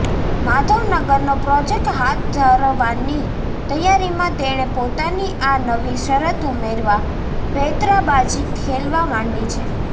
માધવનગરનો project હાથ ધરવાની તૈયારીમાં તેણે પોતાની આ નવી શરત ઉમેરવા પેંતરાબાજી ખેલવા માંડી છે